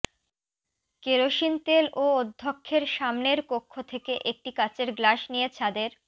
kerosene তেল ও অধ্যক্ষের সামনের কক্ষ থেকে একটি কাচের গ্লাস নিয়ে ছাদের